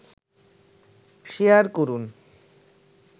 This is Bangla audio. শেয়ার করুন